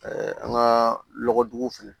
an ka lɔgɔduguw fɛnɛ